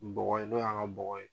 N bɔgɔ ye, n'o y'an ka bɔgɔ ye.